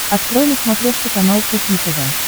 открой на смотрешке канал кухня тв